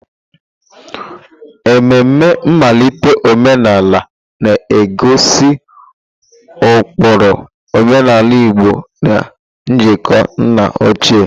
Ememe nmalite omenala na-egosi ụkpụrụ omenala Igbo na njikọ nna ochie.